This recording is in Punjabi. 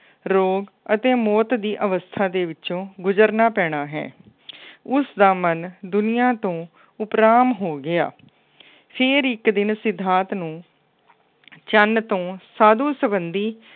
ਰੋਗ ਅਤੇ ਮੌਤ ਦੀ ਅਵਸ਼ਥਾ ਵਿੱਚੋ ਗੁਜ਼ਰਨਾ ਪੈਣਾ ਹੈ। ਉਸਦਾ ਮਨ ਦੁਨੀਆ ਤੋਂ ਉਪਰਾਮ ਹੋ ਗਿਆ। ਫੇਰ ਇੱਕ ਦਿਨ ਸਿਧਾਰਥ ਨੂੰ ਚੰਨ ਤੋਂ ਸਾਧੂ ਸੰਬੰਧੀ